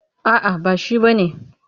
A'a ba shi ba ne.